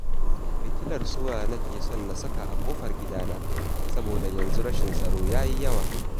Fitilar sola nake son na saka a kofar gidana, saboda yanzu rashin tsaro yayi yawa